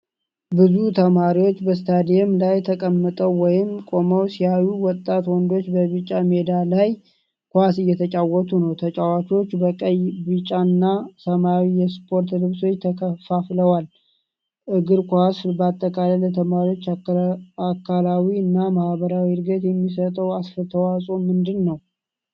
ብዙ ተማሪዎች በስታዲየም ላይ ተቀምጠው ወይም ቆመው ሲያዩ፣ ወጣት ወንዶች በቢጫ ሜዳ ላይ ኳስ እየተጫወቱ ነው። ተጫዋቾቹ በቀይ፣ ቢጫ እና ሰማያዊ የስፖርት ልብሶች ተከፋፍለዋል። እግር ኳስ በአጠቃላይ ለተማሪዎች አካላዊ እና ማኅበራዊ ዕድገት የሚሰጠው አስተዋፅኦ ምንድንነው?